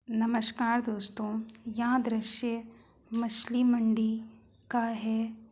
नमस्कार दोस्तों यह दृश्य मछली मंडी का है।